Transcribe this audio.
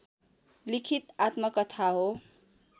लिखित आत्मकथा हो